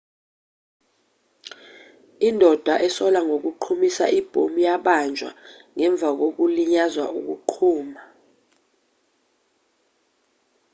indoda esolwa ngokuqhumisa ibhomu yabanjwa ngemva kokulinyazwa ukuqhuma